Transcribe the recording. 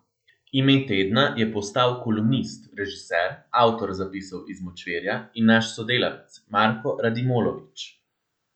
Ime tedna je postal kolumnist, režiser, avtor Zapisov iz močvirja in naš sodelavec Marko Radmilovič.